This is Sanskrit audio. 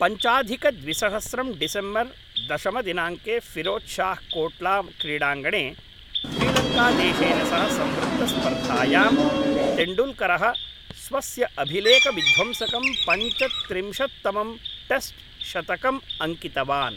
पञ्चाधिकद्विसहस्रं डिसेम्बर् दशमदिनाङ्के फ़िरोज़् शाह् कोट्लाक्रीडाङ्गणे श्रीलङ्कादेशेन सह संवृत्तस्पर्धायां तेण्डूल्करः स्वस्य अभिलेखविध्वंसकं पञ्चत्रिंशत्तमं टेस्ट्शतकम् अङ्कितवान्।